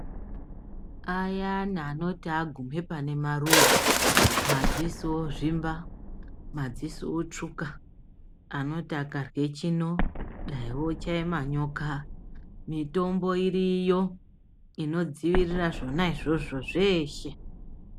Ayana anoti agume pane maruva madziso ozvimba madziso otsvuka anoti akarye chino dai ochaya manyoka mitombo iriyo ino dzivirira zvona zvozvo zveshe.